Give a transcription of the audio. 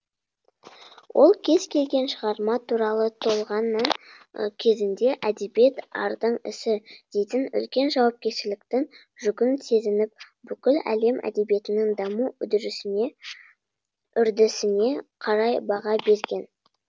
ол кез келген шығарма туралы толғаннан кезінде әдебиет ардың ісі дейтін үлкен жауапкершіліктің жүгін сезініп бүкіл әлем әдебиетінің даму үрдісіне қарай баға берген